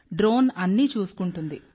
drone అన్నీ చూసుకుంటుంది